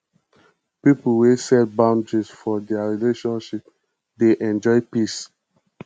pipo we set boundaries for their relationship dey enjoy peace